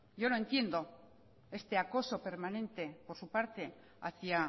yo no entiendo este acoso permanente por su parte hacia